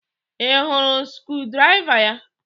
Ị hụrụ screwdriver ya?